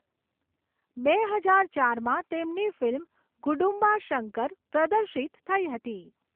બે હજાર ચારમાં તેમની ફિલ્મ 'ગુડુમ્બા શંકર' પ્રદર્શિત થઈ હતી.